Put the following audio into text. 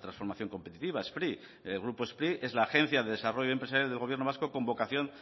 transformación competitiva spri el grupo spri es la agencia de desarrollo empresarial del gobierno vasco con vocación